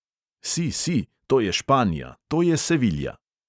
Si, si, to je španija, to je sevilja!